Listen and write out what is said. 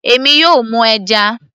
èmi yóò mú ẹja